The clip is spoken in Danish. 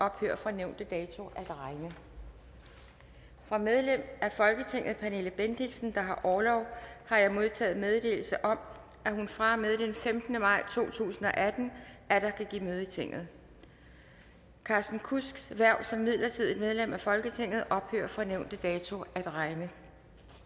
ophører fra nævnte dato at regne fra medlem af folketinget pernille bendixen der har orlov har jeg modtaget meddelelse om at hun fra og med den femtende maj to tusind og atten atter kan give møde i tinget carsten kudsks hverv som midlertidigt medlem af folketinget ophører fra nævnte dato at regne